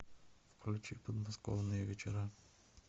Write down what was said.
включи подмосковные вечера